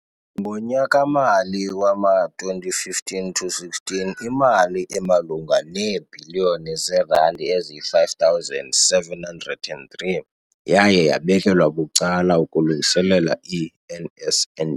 Ngonyaka-mali wama-2015 to 16, imali emalunga neebhiliyoni zeerandi eziyi-5 703 yaye yabekelwa bucala ukulungiselela i-NSNP.